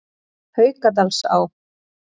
Haukadalsá